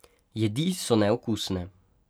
Jedi so neokusne.